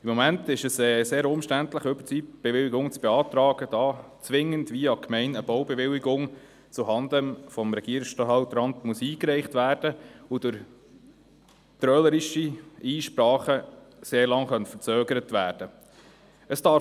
Im Moment ist es sehr umständlich, Überzeitbewilligungen zu beantragen, da via die Gemeinde zwingend eine Baubewilligung zuhanden des Regierungsstatthalteramts eingereicht werden muss, die durch trölerische Einsprachen sehr lange verzögert werden könnte.